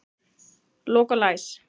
Lok og læs.